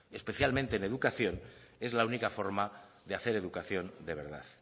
especialmente en educación es la única forma de hacer educación de verdad